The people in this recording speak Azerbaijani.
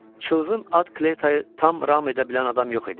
Çılğın at Kleytayı tam ram edə bilən adam yox idi.